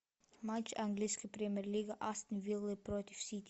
матч английской премьер лиги астон виллы против сити